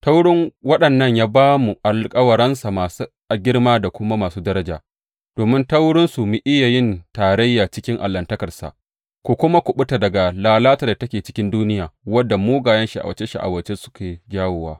Ta wurin waɗannan ya ba mu alkawaransa masu girma da kuma masu daraja, domin ta wurinsu ku iya yin tarayya cikin Allahntakarsa, ku kuma kuɓuta daga lalatar da take cikin duniya wadda mugayen sha’awace sha’awace suke jawowa.